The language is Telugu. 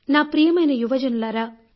నా ప్రియమైన యువజనులారా